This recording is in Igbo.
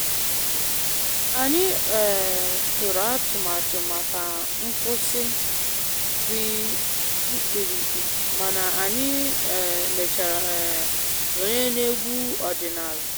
Anyị um tụrụ atụmatụ maka nkwụsị dị mkpirikpi, mana anyị um mechara um sonye na egwu omenala.